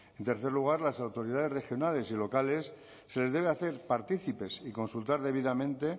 en tercer lugar a las autoridades regionales y locales se les debe hacer partícipes y consultar debidamente